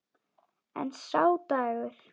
En sá dagur!